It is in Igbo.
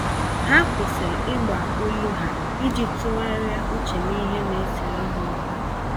Ha kwụsịrị Ịgba olu ha, iji tụgharịa uche n'ihe naesere ha ókwú